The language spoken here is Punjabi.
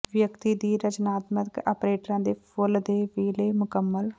ਵਿਅਕਤੀ ਦੀ ਰਚਨਾਤਮਕਤਾ ਆਪਰੇਟਾ ਦੇ ਫੁੱਲ ਦੇ ਵੇਲੇ ਮੁਕੰਮਲ